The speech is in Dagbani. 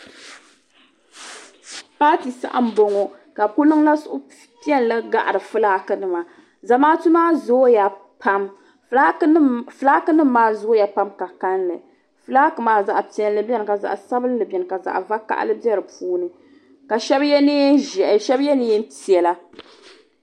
Paati saha m boŋɔ ka bɛ kuli niŋla suhu piɛlli n gahiri filaaki nima Zamaatu maa zooya pam filaaki nima maa zooya pam di ka kalli filaaki maa zaɣa piɛlli biɛni ka zaɣa sabinli biɛni ka zaɣa vakahali biɛdipuuni ka sheba ye niɛn'ʒehi sheba ye niɛn'piɛla.